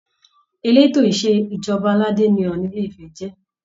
Eleto Ìṣèjọba aládé ni Ọọni Ilé ifẹ jẹ.